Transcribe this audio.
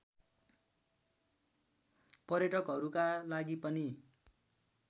पर्यटकहरूका लागि पनि